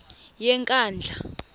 yenkandla